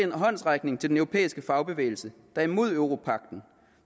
en håndsrækning til den europæiske fagbevægelse der er imod europagten